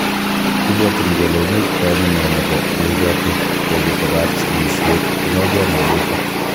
Kibwotyin kele imuch koamune nebo neibote tekutikab sikisiet inegen wolutik.